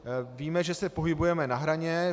Víme, že se pohybujeme na hraně.